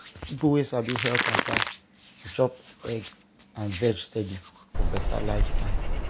people wey sabi health matter dey chop egg and veg steady for better lifestyle.